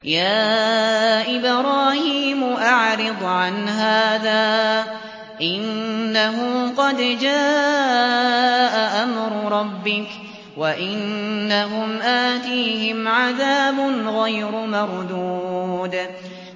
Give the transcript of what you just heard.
يَا إِبْرَاهِيمُ أَعْرِضْ عَنْ هَٰذَا ۖ إِنَّهُ قَدْ جَاءَ أَمْرُ رَبِّكَ ۖ وَإِنَّهُمْ آتِيهِمْ عَذَابٌ غَيْرُ مَرْدُودٍ